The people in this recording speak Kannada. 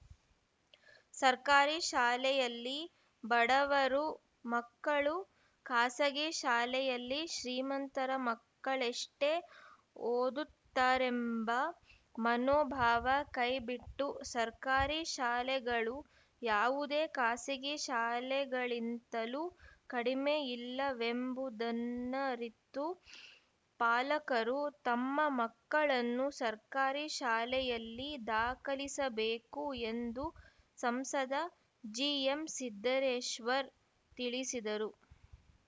ಸರ್ಕಾರಿ ಶಾಲೆಯಲ್ಲಿ ಬಡವರು ಮಕ್ಕಳು ಖಾಸಗಿ ಶಾಲೆಯಲ್ಲಿ ಶ್ರೀಮಂತರ ಮಕ್ಕಳೆಷ್ಟೇ ಓದುತ್ತಾರೆಂಬ ಮನೋಭಾವ ಕೈಬಿಟ್ಟು ಸರ್ಕಾರಿ ಶಾಲೆಗಳು ಯಾವುದೇ ಖಾಸಗಿ ಶಾಲೆಗಳಿಂತಲೂ ಕಡಿಮೆ ಇಲ್ಲವೆಂಬುದನ್ನರಿತು ಪಾಲಕರು ತಮ್ಮ ಮಕ್ಕಳನ್ನು ಸರ್ಕಾರಿ ಶಾಲೆಯಲ್ಲಿ ದಾಖಲಿಸಬೇಕು ಎಂದು ಸಂಸದ ಜಿಎಂಸಿದ್ದರೇಶ್ವರ್ ತಿಳಿಸಿದರು